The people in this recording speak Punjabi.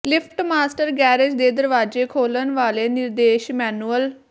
ਲਿਫਟ ਮਾਸਟਰ ਗੈਰੇਜ ਦੇ ਦਰਵਾਜ਼ੇ ਖੋਲਣ ਵਾਲੇ ਨਿਰਦੇਸ਼ ਮੈਨੂਅਲ